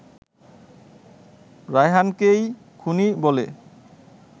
রায়হানকেই খুনি বলে